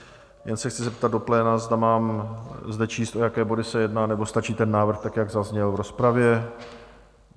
Jen se chci zeptat do pléna, zda mám zde číst, o jaké body se jedná, nebo stačí ten návrh tak, jak zazněl v rozpravě?